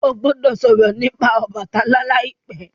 o gbódò sòrò nípa Obàtálá láìpé!